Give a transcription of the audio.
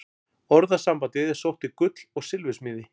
Orðasambandið er sótt til gull- og silfursmíði.